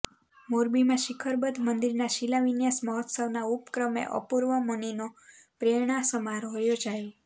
મોરબીમાં શિખરબદ્ધ મંદિરના શિલાન્યાસ મહોત્સવના ઉપક્રમે અપુર્વમુનિનો પ્રેરણા સમારોહ યોજાયો